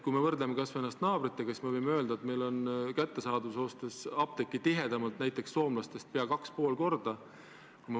Kui võrdleme ennast kas või naabritega, siis võime öelda, et kättesaadavuse poolest on meil apteeke soomlastest tihedamalt pea kaks ja pool korda.